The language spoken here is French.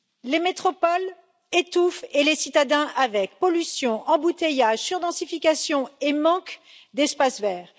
Les métropoles étouffent et les citadins avec pollution, embouteillages, surdensification et manque d'espaces verts.